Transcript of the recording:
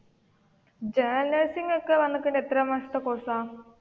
General nursing ഒക്കെ എത്ര മാസത്തെ കോഴ്സ് ആണ്?